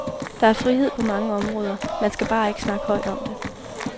Der er frihed på mange områder, man skal bare ikke snakke højt om det.